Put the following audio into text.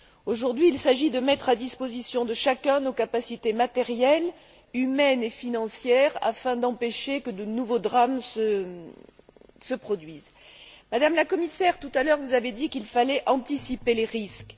Aujourd'hui, il s'agit de mettre à la disposition de chacun nos capacités matérielles, humaines et financières, afin d'empêcher que de nouveaux drames se produisent. Madame la Commissaire, tout à l'heure, vous avez dit qu'il fallait anticiper les risques.